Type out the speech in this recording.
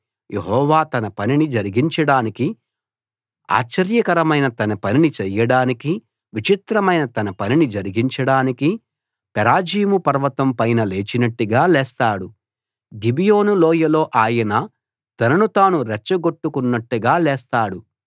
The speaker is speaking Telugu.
యెహోవా తన పనిని జరిగించడానికి ఆశ్చర్యకరమైన తన పనిని చేయడానికి విచిత్రమైన తన పనిని జరిగించడానికి పెరాజీము పర్వతం పైన లేచినట్టుగా లేస్తాడు గిబియోను లోయలో ఆయన తనను తాను రెచ్చగొట్టుకున్నట్టుగా లేస్తాడు